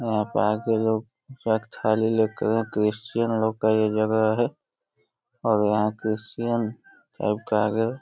यहाँ पे आके लोग पूजा की थाली लेके क्रिश्चियन लोग का ये जगह है और यहाँ क्रिश्चियन --